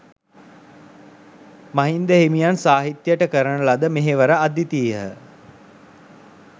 මහින්ද හිමියන් සාහිත්‍යයට කරන ලද මෙහෙවර අද්විතීයහ.